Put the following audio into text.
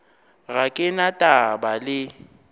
ga ke na taba le